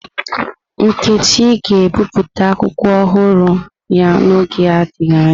Nneka ga-ebipụta akwụkwọ ọhụrụ ya n'oge adịghị anya.